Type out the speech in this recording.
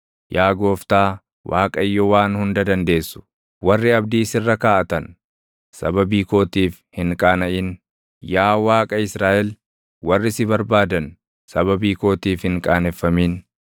Yaa Gooftaa, Waaqayyo Waan Hunda Dandeessu, warri abdii sirra kaaʼatan, sababii kootiif hin qaanaʼin; yaa Waaqa Israaʼel, warri si barbaadan, sababii kootiif hin qaaneffamin.